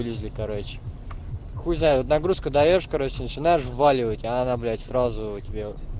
изли короче хуй знает вот нагрузку даёшь короче начинаешь вваливать а она блять сразу тебе